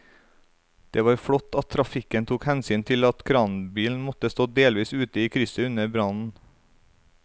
Det var flott at trafikken tok hensyn til at kranbilen måtte stå delvis ute i krysset under brannen.